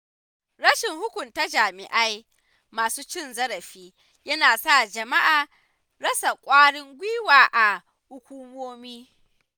Rashin hukunta jami’ai masu cin zarafi yana sa jama’a rasa ƙwarin gwiwa a hukumomi.